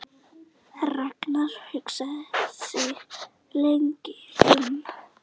Ragnar hugsaði sig lengi um.